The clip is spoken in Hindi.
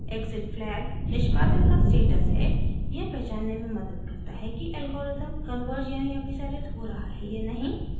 exitflag : निष्पादन का स्टेटस है यह पहचानने में मदद करता है कि एल्गोरिदम कन्वर्ज यानि अभिसारित हो रहा है या नहीं